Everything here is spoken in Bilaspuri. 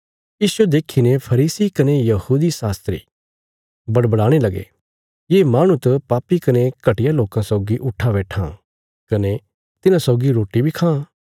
इसजो देखीने फरीसी कने यहूदी शास्त्री बड़बड़ाणे लगे ये माहणु त पापी कने घटिया लोकां सौगी उट्ठां बैट्ठां कने तिन्हां सौगी रोटी बी खां